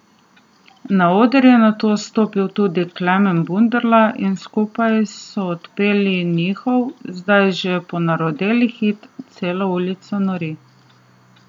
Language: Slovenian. Na oder je nato stopil tudi Klemen Bunderla in skupaj so odpeli njihov, zdaj že ponarodeli hit Cela ulica nori.